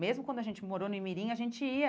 Mesmo quando a gente morou no Imirim, a gente ia.